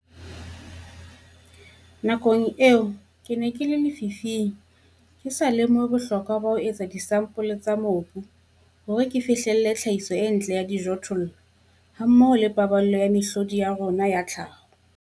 Nakong tseno ke ne ke le lefifing, ke sa lemohe bohlokwa ba ho etsa disampole tsa mobu hore ke fihlelle tlhahiso e ntle ya dijothollo hammoho le paballo ya mehlodi ya rona ya tlhaho.